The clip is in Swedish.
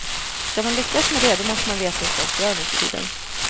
Ska man lyckas med det, då måste man veta hur folk gör nu för tiden.